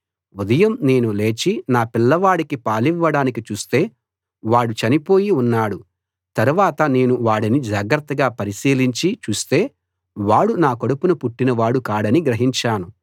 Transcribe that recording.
ఉదయం నేను లేచి నా పిల్లవాడికి పాలివ్వడానికి చూస్తే వాడు చనిపోయి ఉన్నాడు తరవాత నేను వాడిని జాగ్రత్తగా పరిశీలించి చూస్తే వాడు నా కడుపున పుట్టినవాడు కాడని గ్రహించాను